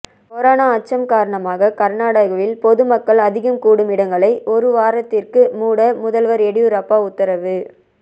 corona அச்சம் காரணமாக கர்நாடகாவில் பொது மக்கள் அதிகம் கூடும் இடங்களை ஒருவாரத்திற்கு மூட முதல்வர் எடியூரப்பா உத்தரவு